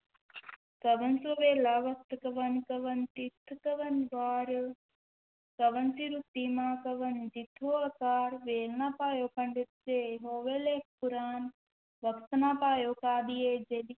ਕਵਣੁ ਸੁ ਵੇਲਾ ਵਖਤੁ ਕਵਣੁ ਕਵਣ ਥਿਤਿ ਕਵਣੁ ਵਾਰੁ, ਕਵਣਿ ਸਿ ਰੁਤੀ ਮਾਹੁ ਕਵਣੁ ਜਿਤੁ ਹੋਆ ਆਕਾਰੁ, ਵੇਲ ਨ ਪਾਇਓ ਪੰਡਤ ਜੇ ਹੋਵੈ ਲੇਖੁ ਪੁਰਾਣੁ, ਵਖਤੁ ਨ ਪਾਇਓ ਕਾਦੀਆ ਜੇ